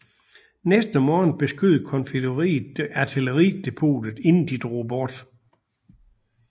Næste morgen beskød konfødereret artilleri depotet inden de drog bort